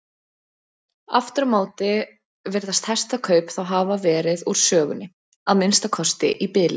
Aftur á móti virðast hestakaup þá hafa verið úr sögunni, að minnsta kosti í bili.